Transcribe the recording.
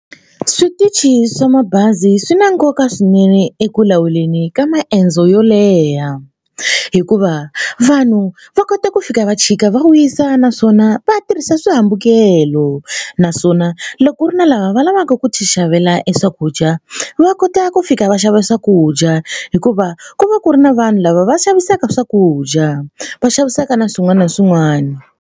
Switichi swa mabazi swi na nkoka swinene eku lawuleni ka maendzo yo leha hikuva vanhu va kota ku fika va chika va wisa naswona va tirhisa swihambukelo naswona loko ku ri na lava va lavaka ku tixavela e swakudya va kota ku fika va xava swakudya hikuva ku va ku ri na vanhu lava va xavisaka swakudya va xavisaka na swin'wana na swin'wana.